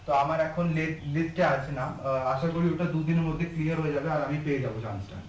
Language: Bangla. তো আমার এখন lis~ list এ আছে নাম আশা করি ওটা দু দিনের মধ্যে clear হয়ে যাবে আর আমি পেয়ে যাবো chance টা